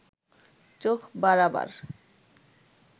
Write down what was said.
চোখ বাড়াবার